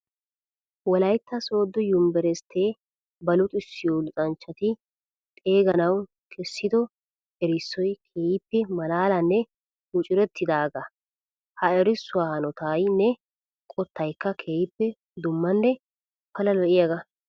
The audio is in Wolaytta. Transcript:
Wolaytta soodo yunbburssitte ba luxissiyo luxanchchatti xeeganawu kessiddo erissoy keehippe malaalanne mucurettidaaga. Ha erissuwa hanaottaynne qottaykka keehippe dummanne pala lo'iyaaga.